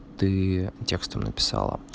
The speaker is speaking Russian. ты текстом написала